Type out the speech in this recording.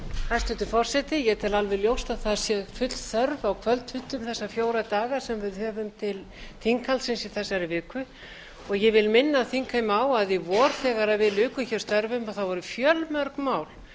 hæstvirtur forseti ég tel alveg ljót að það sé full þörf á kvöldfundum þessa fjóra daga sem við höfum til þinghaldsins í þessari viku og ég vil minna þingheim á að í vor þegar við lukum hér störfum voru fjölmörg mál